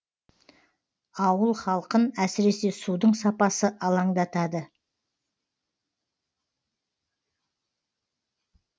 ауыл халқын әсіресе судың сапасы алаңдатады